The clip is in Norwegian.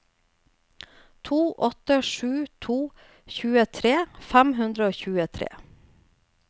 to åtte sju to tjuetre fem hundre og tjuetre